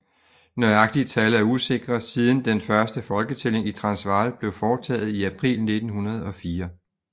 Nøjagtige tal er usikre siden den første folketælling i Transvaal blev foretaget i april 1904